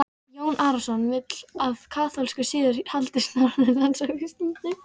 Jón Arason vill að kaþólskur siður haldist norðanlands á Íslandi.